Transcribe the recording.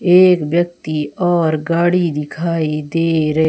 एक व्यक्ति और गाड़ी दिखाई दे रही--